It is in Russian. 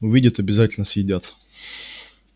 увидят обязательно съедят